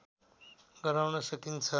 गराउन सकिन्छ